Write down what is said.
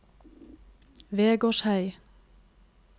Vegårshei